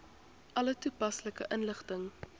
alle toepaslike inligting